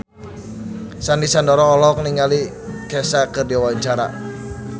Sandy Sandoro olohok ningali Kesha keur diwawancara